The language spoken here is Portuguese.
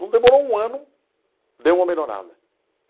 Não demorou um ano, deu uma melhorada.